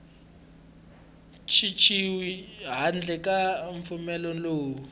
cinciwi handle ka mpfumelelo lowu